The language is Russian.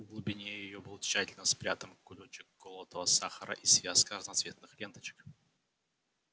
в глубине её был тщательно спрятан кулёчек колотого сахара и связка разноцветных ленточек